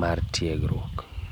mar tiegruok.